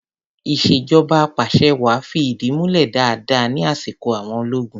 Ìṣèjọba apàṣẹwàá fi ìdí múlẹ̀ dáadáa ní asiko àwọn ológun.